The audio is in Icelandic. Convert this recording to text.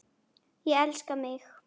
Ég elska mig!